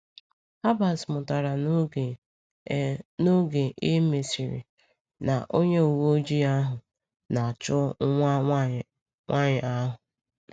Herbert mụtara n’oge e n’oge e mesịrị na onye uweojii ahụ na-achọ nwa nwanyị nwaanyị ahụ.